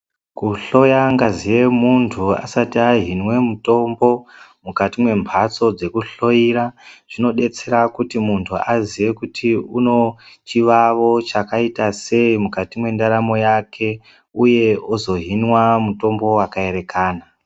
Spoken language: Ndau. Kuhloya ngazi yemuntu asati ahinwe mitombo mukati membatso dzekuhloyera zvinodetsera muntu kuti azive kuti unochivawo chakaita seyi mukati mentaramo yake uye ozohinwa mutombo wakaerekana.